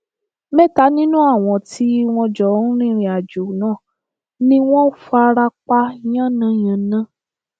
mẹta nínú àwọn tí wọn jọ ń rìnrìnàjò náà ni wọn fara pa yánnayànna